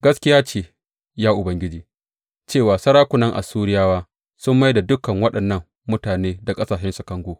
Gaskiya ce, ya Ubangiji, cewa sarakunan Assuriyawa sun mai da dukan waɗannan mutane da ƙasashensu kango.